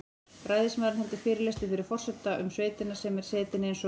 Ræðismaður heldur fyrirlestur fyrir forseta um sveitina sem er setin eins og